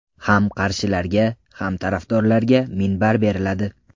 Ham qarshilarga, ham tarafdorlarga minbar beriladi.